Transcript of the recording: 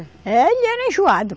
É, ele era enjoado.